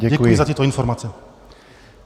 Děkuji za tyto informace.